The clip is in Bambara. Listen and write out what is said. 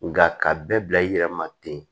Nka ka bɛɛ bila i yɛrɛ ma ten